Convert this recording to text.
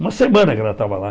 Uma semana que ela estava lá.